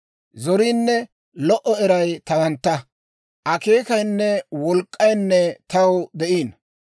Zoriinne lo"o eray tawantta; akeekayinne wolk'k'aynne taw de'iino.